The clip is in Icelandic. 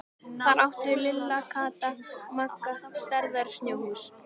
Þar áttu Lilla, Kata og Magga stærðar snjóhús.